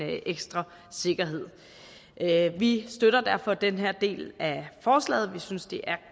ekstra sikkerhed vi støtter derfor den her del af forslaget vi synes det er